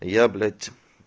а я блять